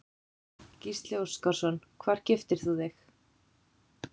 Gísli Óskarsson: Hvar giftir þú þig?